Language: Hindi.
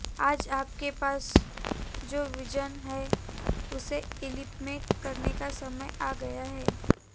आज आप के पास जो विजन है उसे इंप्लीमेंट करने का समय आ गया है